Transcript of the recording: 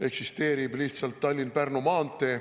Eksisteerib lihtsalt Tallinna–Pärnu maantee.